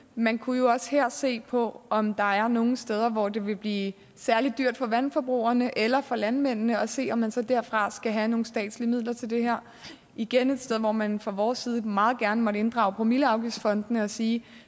man kunne jo også her se på om der er nogle steder hvor det vil blive særlig dyrt for vandforbrugerne eller for landmændene og se om man så derfra skal have nogle statslige midler til det her igen et sted hvor man fra vores side meget gerne måtte inddrage promilleafgiftsfondene og sige